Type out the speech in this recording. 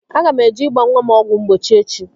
Aga m eje ịgba nwa m ọgwụ mgbochi echi